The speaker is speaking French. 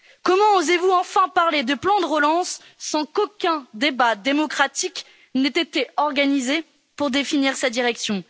Comment osez vous enfin parler de plan de relance sans qu'aucun débat démocratique n'ait été organisé pour définir sa direction?